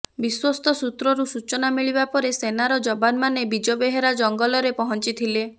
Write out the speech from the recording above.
ବିଶ୍ୱସ୍ତ ସୂତ୍ରରୁ ସୂଚନା ମିଳିବା ପରେ ସେନାର ଯବାନମାନେ ବିଜବେହେରା ଜଙ୍ଗଲରେ ପହଞ୍ଚି ଥିଲେ